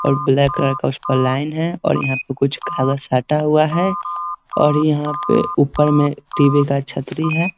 और black colour का उस पर एक लाइन है और यहाँ पे कुछ काला साटा हुआ है और यहाँ पे ऊपर में टी.वी. का छतरी है।